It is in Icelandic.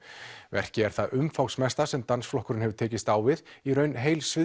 verkið er það umfangsmesta sem dansflokkurinn hefur tekist á við í raun heil